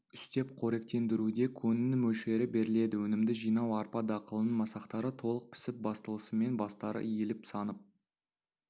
үстеп қоректендіруде көңнің мөлшері беріледі өнімді жинау арпа дақылының масақтары толық пісіп басталысымен бастары иіліп сынып